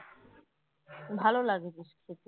ভালো লাগে বেশ খেতে